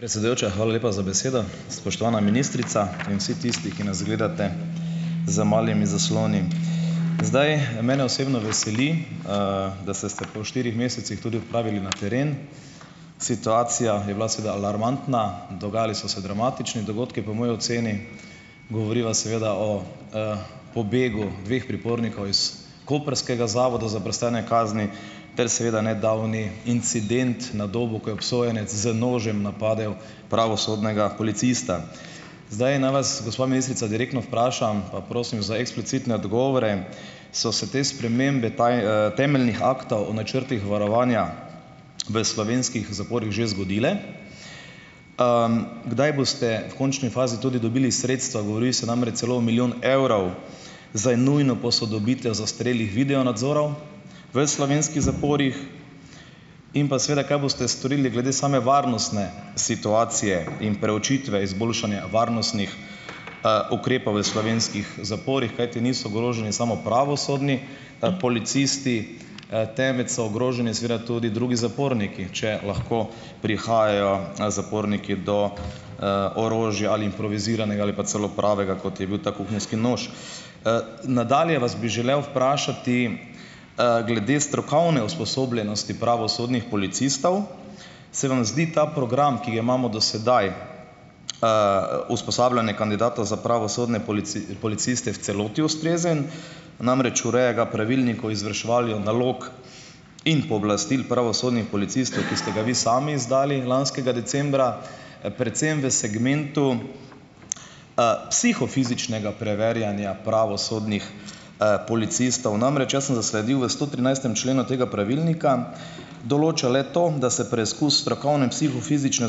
Predsedujoča, hvala lepa za besedo. Spoštovana ministrica in vsi tisti, ki nas gledate za malimi zaslonim! Zdaj mene osebno veseli, da se ste po štirih mesecih tudi odpravili na teren. Situacija je bila seveda alarmantna, dogajali so se dramatični dogodki, po moji oceni. Govoriva seveda o pobegu dveh pripornikov iz koprskega zavoda za prestajanje kazni ter seveda nedavni incident na Dobu, ko je obsojenec z nožem napadel pravosodnega policista. Zdaj naj vas, gospa ministrica, direktno vprašam pa prosim za eksplicitne odgovore. So se te spremembe temeljnih aktov o načrtih varovanja v slovenskih zaporih že zgodile? Kdaj boste v končni fazi tudi dobili sredstva? Govorili so namreč celo o milijon evrov zdaj nujno posodobitev zastarelih video nadzorov v slovenskih zaporih. In pa seveda, kaj boste storili glede same varnostne situacije in preučitve izboljšanja varnostnih ukrepov v slovenskih zaporih, kajti niso ogroženi samo pravosodni, policisti, temveč so ogroženi seveda tudi drugi zaporniki, če lahko prihajajo, zaporniki do, orožja, ali improviziranega ali pa celo pravega, kot je bil ta kuhinjski nož. Nadalje vas bi želel vprašati, glede strokovne usposobljenosti pravosodnih policistov. Se vam zdi ta program, ki ga imamo do sedaj, usposabljanje kandidatov za pravosodne policiste v celoti, ustrezen? Namreč, ureja ga pravilnik o izvrševanju nalog in pooblastil pravosodnih policistov, ki ste ga vi sami izdali lanskega decembra, predvsem v segmentu psihofizičnega preverjanja pravosodnih, policistov. Namreč, jaz sem zasledil v stotrinajstem členu tega pravilnika, določa le to, da se preizkus strokovne psihofizične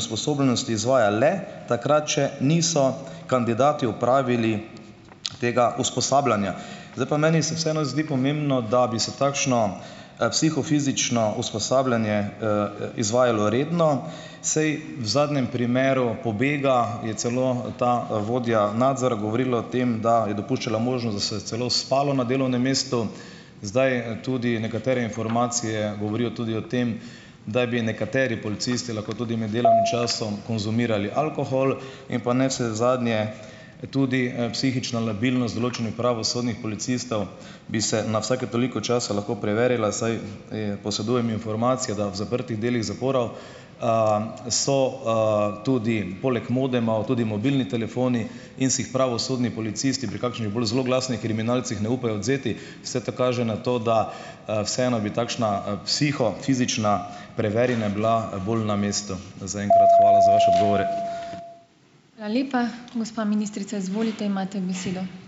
usposobljenosti izvaja le takrat, če niso kandidati opravili tega usposabljanja. Zdaj pa meni se vseeno zdi pomembno, da bi se takšno, psihofizično usposabljanje izvajalo redno, saj v zadnjem primeru pobega je celo ta, vodja nadzora govorila o tem, da je dopuščala možnost, da se je celo spalo na delovnem mestu. Zdaj tudi nekatere informacije govorijo tudi o tem, da bi nekateri policisti lahko tudi med delovnim časom konzumirali alkohol in pa navsezadnje tudi, psihična labilnost določenih pravosodnih policistov bi se na vsake toliko časa lahko preverila, saj posedujem informacijo, da v zaprtih delih zaporov so tudi poleg modemov tudi mobilni telefoni in si jih pravosodni policisti pri kakšnih bolj zloglasnih kriminalcih ne upajo odvzeti. Vse te kaže na to, da, vseeno bi takšna psihofizična preverjanja bila bolj na mestu. Zaenkrat hvala za vaše odgovore.